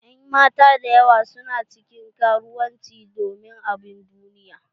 En mata dayawa su na cikin karuwanci domin abubuwan duniya.